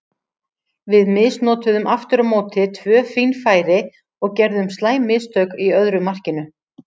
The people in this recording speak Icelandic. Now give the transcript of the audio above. Við misnotuðum aftur á móti tvö fín færi og gerðum slæm mistök í öðru markinu.